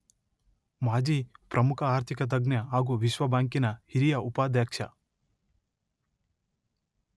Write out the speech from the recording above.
ಮಾಜಿ ಪ್ರಮುಖ ಆರ್ಥಿಕ ತಜ್ಞ ಹಾಗೂ ವಿಶ್ವ ಬ್ಯಾಂಕಿನ ಹಿರಿಯ ಉಪಾಧ್ಯಕ್ಷ